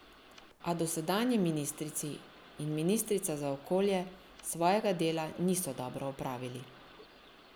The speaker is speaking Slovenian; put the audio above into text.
A dosedanji ministri in ministrica za okolje svojega dela niso dobro opravili.